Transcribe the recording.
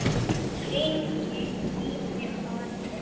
Hringi í þig á eftir.